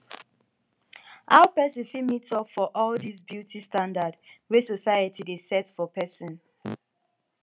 how pesin fit meet up for all dis beauty standard wey society dey set for pesin